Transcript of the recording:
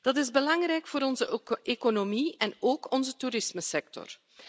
Dat is belangrijk voor onze economie en ook onze toerismesector.